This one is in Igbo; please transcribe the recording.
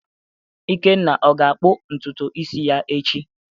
Ikenna ga-akpụ ntutu isi ya echi?